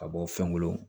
Ka bɔ fɛnw